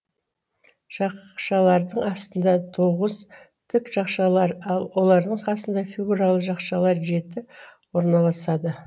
жақшалардың астына тоғыз тік жақшалар ал олардың қасына фигуралы жақшалар жеті орналасады